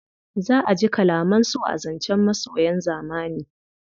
Za a ji kalaman so a zancen masoyan zamani.